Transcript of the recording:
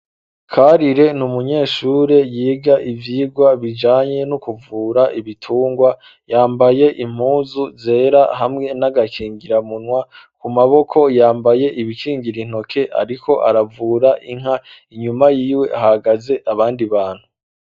Karire n'umunyeshure yiga ivyigwa bijanye no kuvura ibitungwa, yambaye impuzu zera hamwe n'agakingiramunwa, ku maboko yambaye ibikingira intoke, ariko aravura inka, inyuma y'iwe hahagaze abandi bantu.